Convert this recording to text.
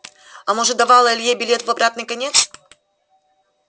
а может давала илье билет в обратный конец